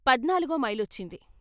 పధ్నాలుగో మైలొచ్చింది.